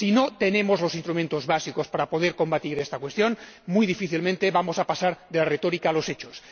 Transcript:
Si no tenemos los instrumentos básicos para poder combatir esta cuestión, muy difícilmente vamos a pasar de la retórica a los hechos.